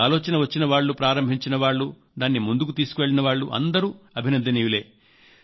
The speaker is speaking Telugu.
ఈ ఆలోచన వచ్చిన వాళ్ళు ప్రారంభించిన వాళ్లు దాన్ని ముందుకు తీసుకెళ్లిన వారు అందరూ అభినందనీయులే